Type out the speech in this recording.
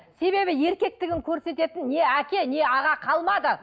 себебі еркектігін көрсететін не әке не аға қалмады